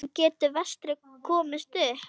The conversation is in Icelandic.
En getur Vestri komist upp?